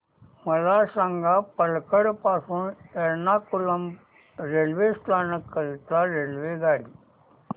मला सांग पलक्कड पासून एर्नाकुलम रेल्वे स्थानक करीता रेल्वेगाडी